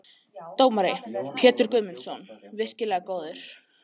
Dómari: Pétur Guðmundsson- virkilega góður.